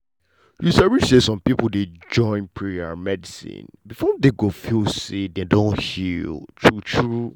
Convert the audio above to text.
you sabi say some people dey join prayer and medicine before dem go feel say dem don heal true true.